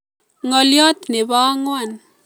Ngolyot nebo angwan